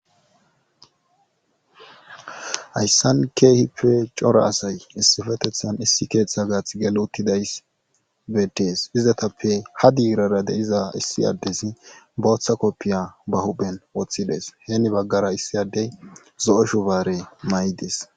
hayssan keehippe cora asay issifetethan issi keeththa gaath gel uttidays bedees izatappe ha diirara deiza issi addesi booththa koppiya ba huben woththides heeni baggara issi addey zo7o shubaare may7ides